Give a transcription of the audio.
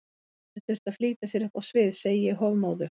Bangsinn þurfti að flýta sér upp á svið, segi ég hofmóðug.